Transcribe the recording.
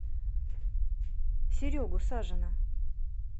серегу сажина